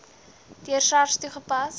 deur sars toegepas